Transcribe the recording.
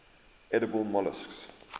edible molluscs